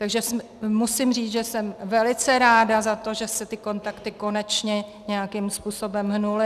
Takže musím říct, že jsem velice ráda za to, že se ty kontakty konečně nějakým způsobem hnuly.